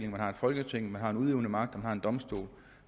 vi har folketinget vi har den udøvende magt og vi har en domstol